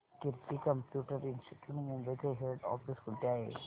कीर्ती computer institute Mumbai चे head office कुठे आहे